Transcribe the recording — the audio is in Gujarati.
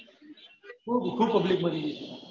ખુબ ખુબ public મરી ગયેલી